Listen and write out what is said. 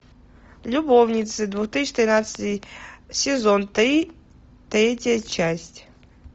любовницы две тысячи тринадцатый сезон три третья часть